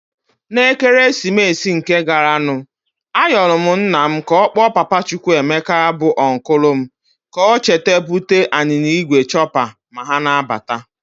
Na Ekeresimite nke garanụ ayọlụ nna m ka ọkpọ papa Chukwuemeka bụ ọnkụlụ m ka ha cheta bute ya anyịnya igwe chopper ma ha na-abata.